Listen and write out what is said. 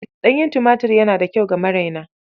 Ɗanyen tumatir yana da kyau ga maraina.